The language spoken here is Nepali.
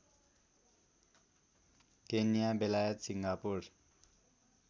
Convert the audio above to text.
केन्या बेलायत सिङ्गापुर